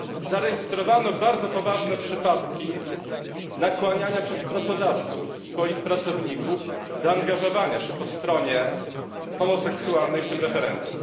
Zarejestrowano bardzo poważne przypadki nakłaniania przez pracodawców swoich pracowników do angażowania się po stronie homoseksualnej w tym referendum.